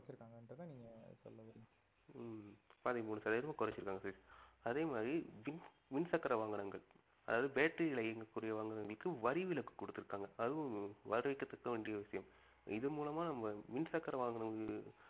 ஹம் பதிமூணு சதவிதமா குறைச்சிருக்காங்க சதீஷ் அதே மாதிரி மின் மின்சக்கர வாகனங்கள் அதாவது battery ல இயங்கக்கூடிய வாகனங்களுக்கு வரிவிலக்கு குடுத்திருக்காங்க அதுவும் வரவேற்கத்தக்க வேண்டிய விஷயம் இது மூலமா நம்ம மின்சக்கர வாகனங்கள்